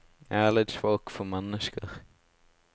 Jeg er litt svak for mennesker.